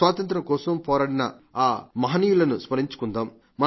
స్వాతంత్ర్యం కోసం పోరాడిన ఆ మహనీయులను స్మరించుకుందాం